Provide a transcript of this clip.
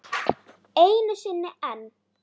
Einu sinni enn.